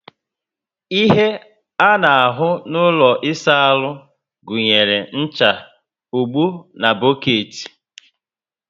Ihe a ná ahu na ụlọ ịsa áhù gụnyere ncha, ogbo, boketi